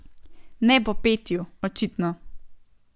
Ne po petju, očitno.